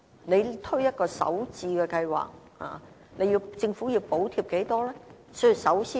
如果推出首置計劃，政府究竟要補貼多少錢呢？